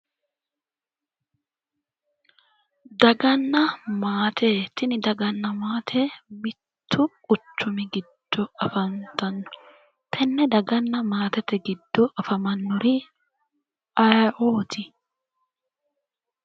Daganna maate, tini daganna maate mitto quchumi giddo afantano tenne daganna maatete giddo afamanori ayeeoti ?